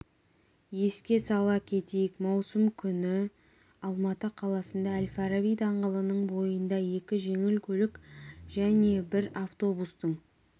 еске сала кетейік маусым күні алматы қаласында әл-фараби даңғылының бойында екі жеңіл көлік және бір автобустың